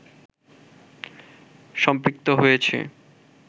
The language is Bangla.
সম্পৃক্ত হয়েছে